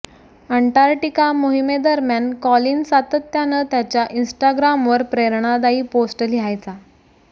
Antarctica मोहिमेदरम्यान Colin सातत्यानं त्याच्या इन्स्टाग्रामवर प्रेरणादायी पोस्ट लिहायचा